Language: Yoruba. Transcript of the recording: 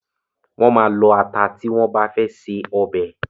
Wọ́n máa lọ ata tí wọ́n bá fe se ọbẹ̀.